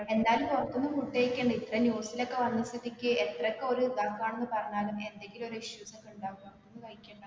എന്തായാലും പുറത്തുന്ന് food കഴിക്കണ്ട ഇത്രയും news ലൊക്കെ വന്ന സ്ഥിതിക്ക് എത്രക്കൊരു ഇതാക്കാൻ പറഞ്ഞാലും എന്തെങ്കിലും ഒരു issues ഒക്കെ ഇണ്ടാവും പുറത്തുന്ന് കഴിക്കണ്ട